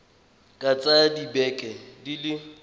ka tsaya dibeke di le